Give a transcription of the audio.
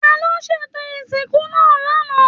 Taló ṣètò ìsìnkú náà l'ana?